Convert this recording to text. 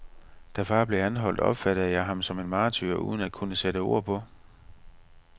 Da far blev anholdt, opfattede jeg ham som martyr uden at kunne sætte ord på.